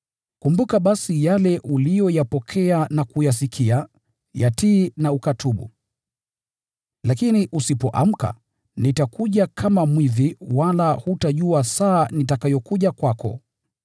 Kumbuka basi yale uliyoyapokea na kuyasikia, yatii na ukatubu. Lakini usipoamka, nitakuja kama mwizi wala hutajua saa nitakayokuja kwako.